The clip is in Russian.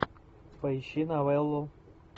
поищи новеллу